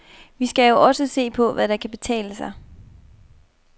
Vi skal jo også se på, hvad der kan betale sig.